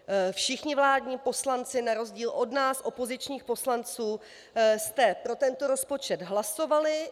Všichni vládní poslanci na rozdíl od nás, opozičních poslanců, jste pro tento rozpočet hlasovali.